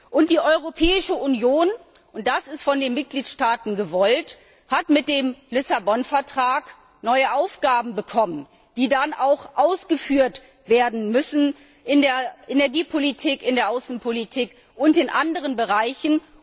Und die Europäische Union das ist von den Mitgliedstaaten gewollt hat mit dem Vertrag von Lissabon neue Aufgaben bekommen, die dann auch ausgeführt werden müssen, in der Energiepolitik, in der Außenpolitik und in anderen Bereichen.